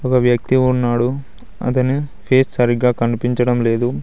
ఒక వ్యక్తి ఉన్నాడు అతని ఫేస్ సరిగా కనిపించడం లేదు